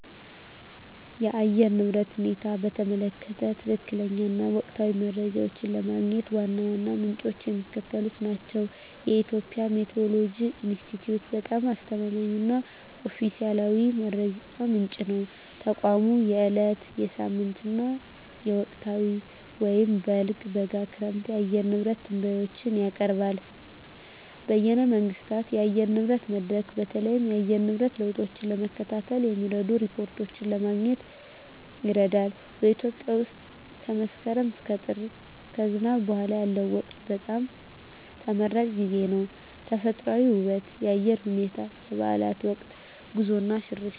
የአየር ንብረት ሁኔታን በተመለከተ ትክክለኛ እና ወቅታዊ መረጃ ለማግኘት ዋና ዋናዎቹ ምንጮች የሚከተሉት ናቸው -የኢትዮጵያ ሜትዎሮሎጂ ኢንስቲትዩት በጣም አስተማማኝ እና ኦፊሴላዊ መረጃ ምንጭ ነው። ተቋሙ የዕለት፣ የሳምንት እና የወቅታዊ (በልግ፣ በጋ፣ ክረምት) የአየር ንብረት ትንበያዎችን ያቀርባል። -በይነ መንግሥታት የአየር ንብረት መድረክ: በተለይም የአየር ንብረት ለውጥን ለመከታተል የሚረዱ ሪፖርቶችን ለማግኘት ይረዳል። -በኢትዮጵያ ውስጥ ከመስከረም እስከ ጥር (ከዝናብ በኋላ ያለው ወቅት) በጣም ተመራጭ ጊዜ ነው። -ተፈጥሮአዊ ውበት -የአየር ሁኔታ -የበዓላት ወቅት -ጉዞ እና ሽርሽር